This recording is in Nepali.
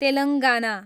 तेलङ्गाना